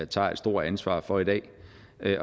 tager et stort ansvar for i dag